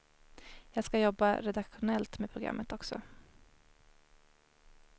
Jag ska jobba redaktionellt med programmet också.